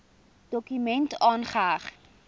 dokument aangeheg